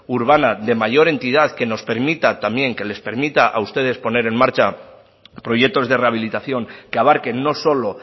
urbana de mayor entidad que nos permita también que les permita a ustedes poner en marcha proyectos de rehabilitación que abarquen no solo